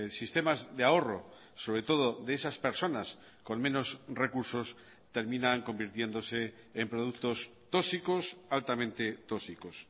sistemas de ahorro sobre todo de esas personas con menos recursos terminan convirtiéndose en productos tóxicos altamente tóxicos